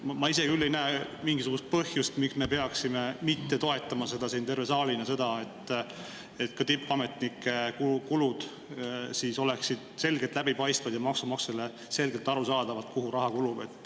Ma ise küll ei näe mingisugust põhjust, miks ei peaks siin saalis toetama seda, et tippametnike kulud oleksid selgelt läbipaistvad ja maksumaksjale oleks selgelt aru saada, kuhu raha kulub.